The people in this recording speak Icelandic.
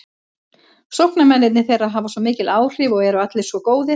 Sóknarmennirnir þeirra hafa mikil áhrif og eru allir svo góðir.